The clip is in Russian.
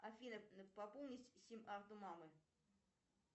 афина пополнить сим карту мамы